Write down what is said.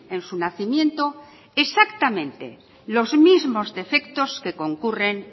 en su nacimiento exactamente los mismos defectos que concurren